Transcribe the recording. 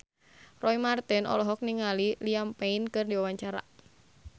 Roy Marten olohok ningali Liam Payne keur diwawancara